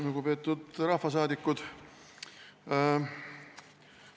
Lugupeetud rahvasaadikud!